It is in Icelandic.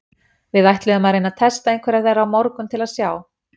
Við ætluðum að reyna að testa einhverjar þeirra á morgun til að sjá.